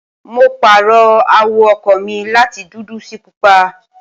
mo pààrọ̀ àwọ̀ ọkọ̀ mi láti dúdú sí pupa